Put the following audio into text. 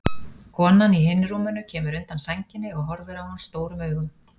Konan í hinu rúminu kemur undan sænginni og horfir á hann stórum augum.